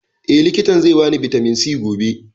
Eh, likitan zai ba ni bitamin C gobe